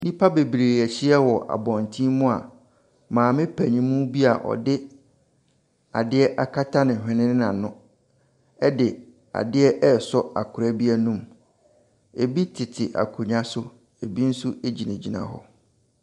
Nnipa bebree ahyia wɔ abɔnten mu a maame panin bi a ɔde adeɛ akata ne hwene ne n'ano de adeɛ resɔ akwadaa bi anum. Ebi tete akonnwa so, ebi nso gyinagyina hɔ.